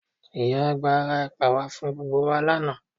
Ìyá àgbà ra ẹ̀pà wá fún gbogbo wa lánàá